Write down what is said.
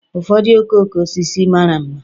Ụfọdụ okooko osisi mara mma